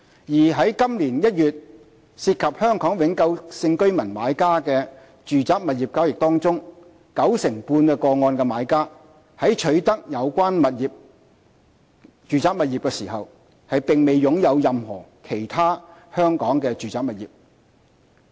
而在今年1月涉及香港永久性居民買家的住宅物業交易中，九成半個案的買家在取得有關住宅物業時並沒有擁有任何其他香港住宅物業。